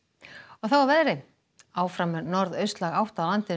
þá að veðri áfram er norðaustlæg átt á landinu